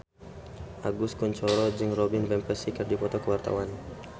Agus Kuncoro jeung Robin Van Persie keur dipoto ku wartawan